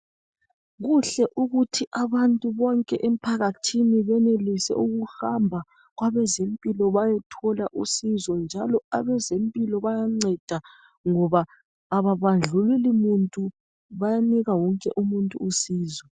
Kuhle ukuthi abantu bonke emphakathini benelise ukuhamba kwabezempilo bayethola usizo njalo abezempilo bayanceda ngoba ababandlululi muntu bayanika wonke umuntu usizo.